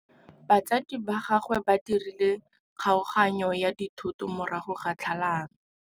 Batsadi ba gagwe ba dirile kgaoganyô ya dithoto morago ga tlhalanô.